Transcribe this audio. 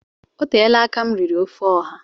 Oteela aka m riri ofe ọha